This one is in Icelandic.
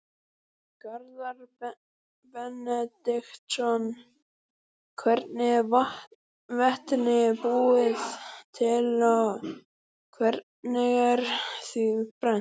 Garðar Benediktsson: Hvernig er vetni búið til og hvernig er því brennt?